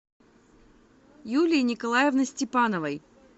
юлии николаевны степановой